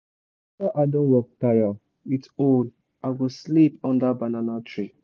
after i don work tire with hoe i go sleep under banana tree